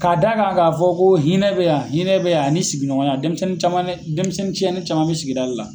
Ka da kan ka fɔ ko hinɛ be yan, hinɛ be yan ani sigiɲɔgɔnya .Dɛnmisɛnnin caman bɛ, dɛnmisɛnnin tiɲɛnen caman bɛ sigida de la.